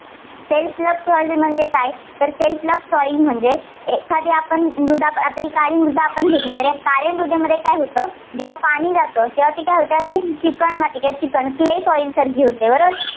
self plough म्हणजे काय? self plough soil म्हणजे एखादी आपण मृदा आता ही काळी मृदा आपण घेतली तर काळ्या मृदेमध्ये काय होतं जेव्हा पाणी जातं तेव्हा ती काय होते ती अशी चिकन माती किंवा चिकन clay soil सारखी होते बरोबर